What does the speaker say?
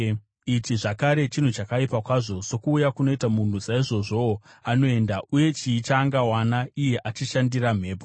Ichi zvakare chinhu chakaipa kwazvo: Sokuuya kunoita munhu saizvozvowo anoenda, uye chii chaangawana, iye achishandira mhepo?